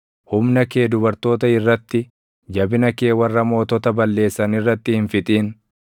humna kee dubartoota irratti, jabina kee warra mootota balleessan irratti hin fixin.